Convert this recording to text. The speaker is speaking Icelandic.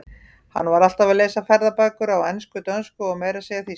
Hann var alltaf að lesa ferðabækur á ensku, dönsku og meira að segja þýsku.